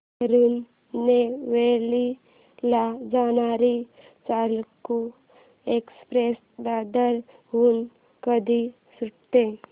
तिरूनेलवेली ला जाणारी चालुक्य एक्सप्रेस दादर हून कधी सुटते